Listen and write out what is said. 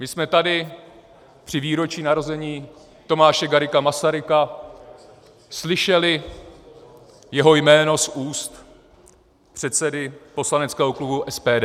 My jsme tady při výročí narození Tomáše Garrigua Masaryka slyšeli jeho jméno z úst předsedy poslaneckého klubu SPD.